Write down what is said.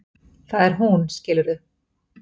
Það er hún, skilurðu?